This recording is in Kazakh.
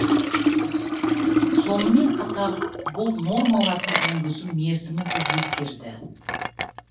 сонымен қатар бұл нормаларды енгізу мерзімі де өзгерді